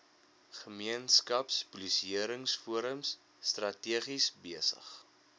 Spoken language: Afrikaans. gemeenskapspolisieringsforums strategies besig